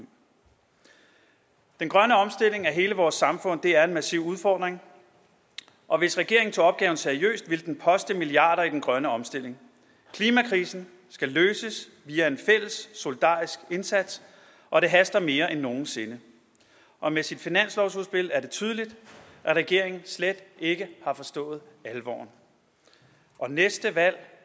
den grønne omstilling af hele vores samfund er en massiv udfordring og hvis regeringen tog opgaven seriøst ville den poste milliarder i den grønne omstilling klimakrisen skal løses via en fælles solidarisk indsats og det haster mere end nogen sinde og med sit finanslovsudspil er det tydeligt at regeringen slet ikke har forstået alvoren og næste valg